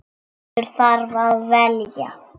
Maður þarf að velja.